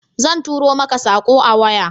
Zan tura mako sako a waya